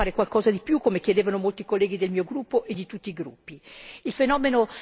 Quindi, credo che sia opportuno fare qualcosa di più, come chiedevano molti colleghi del mio gruppo e di tutti i gruppi.